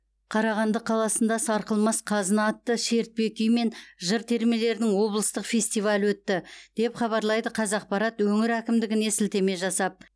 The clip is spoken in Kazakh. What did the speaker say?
қарағанды қаласында сарқылмас қазына атты шертпе күй мен жыр термелердің облыстық фестивалі өтті деп хабарлайды қазақпарат өңір әкімдігіне сілтеме жасап